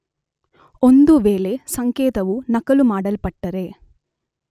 ಒಂದು ವೇಳೆ ಸಂಕೇತವು ನಕಲು ಮಾಡಲ್ಪಟ್ಟರೆ